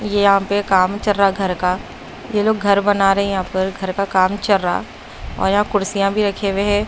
यहां पे काम चल रहा घर का ये लोग घर बना रहे हैं यहां पर घर का काम चर रा और यहां कुर्सियां भी रखे हुए हैं।